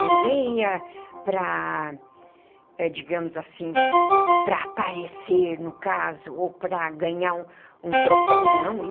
Ninguém ia para, digamos assim, para aparecer no caso ou para ganhar um troféu, não.